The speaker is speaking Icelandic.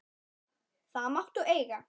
Það máttu eiga.